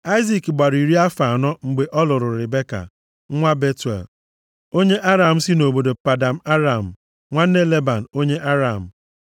Aịzik gbara iri afọ anọ mgbe ọ lụrụ Ribeka, nwa Betuel, onye Aram si nʼobodo Padan Aram, nwanne Leban, onye Aram.